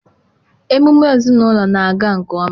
emume ezinụlọ na-aga nke ọma.